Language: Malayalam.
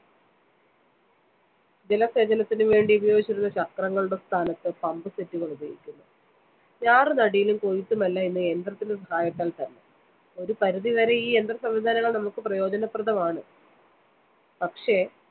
ജലസേചനത്തിനുവേണ്ടി ഉപയോഗിച്ചിരുന്ന ചക്രങ്ങളുടെ സ്ഥാനത്ത് pump set ള്‍ ഉപയോഗിക്കുന്നു. ഞാറുനടീലും കൊയ്ത്തുമെല്ലാം ഇന്ന് യന്ത്രത്തിന്റെ സഹായത്താല്‍ത്തന്നെ. ഒരു പരിധിവരെ ഈ യന്ത്രസംവിധാനങ്ങള്‍ നമുക്ക് പ്രയോജനപ്രദമാണ്. പക്ഷെ